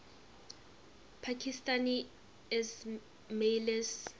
pakistani ismailis